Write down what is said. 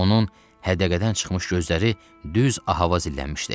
Onun hədəqədən çıxmış gözləri düz Ahava zinlənmişdi.